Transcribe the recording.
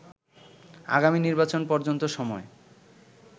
আগামী নির্বাচন পর্যন্ত সময়